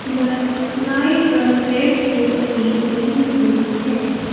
बस व्हाईट और red colour की खड़ी हुई है।